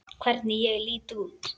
Hvernig ég lít út!